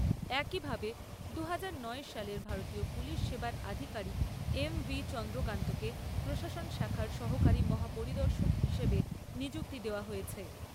একইভাবে দুহাজার নয় সালের ভারতীয় পুলিশ সেবার আধিকারিক এম ভি চন্দ্রকান্তকে প্রশাসন শাখার সহকারী মহা পরিদর্শক হিসেবে নিযুক্তি দেওয়া হয়েছে।